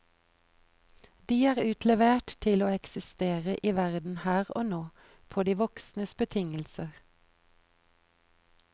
De er utlevert til å eksistere i verden her og nå, på de voksnes betingelser.